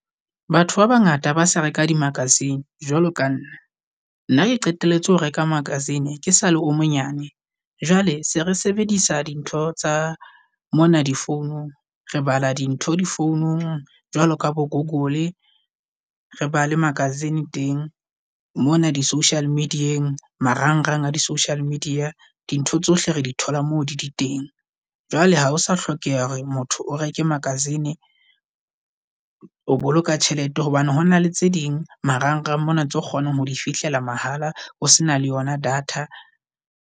Batho ba bangata ha ba sa reka di-magazine jwalo ka nna. Nna ke qetelletse ho reka magazine ke sale o monyane, jwale se re sebedisa dintho tsa mona di founung. Re bala di ntho di founung jwalo ka bo Google. Re bale magazine teng mona di social media-eng marang-rang a di social media. Dintho tsohle re di thola moo di le teng. Jwale ha o sa hlokeha hore motho o reke magazine o boloka tjhelete. Hobane ho na le tse ding marang-rang mona tseo kgonang ho di fihlela mahala o sena le yona data.